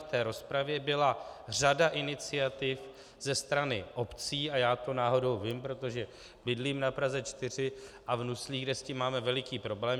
V té rozpravě byla řada iniciativ ze strany obcí a já to náhodou vím, protože bydlím na Praze 4 a v Nuslích, kde s tím máme veliký problém.